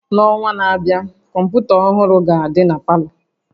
N'ọnwa na-abịa, kọmpụta ọhụrụ ga-adị na palọ